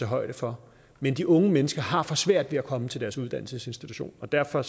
højde for men de unge mennesker har for svært ved at komme til deres uddannelsesinstitution og derfor